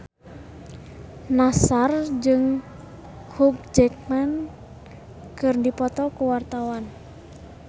Nassar jeung Hugh Jackman keur dipoto ku wartawan